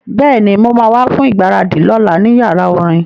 Bẹ́ẹ̀ni, mo ma wá fún ìgbáradì lọ́la ní yàrá orin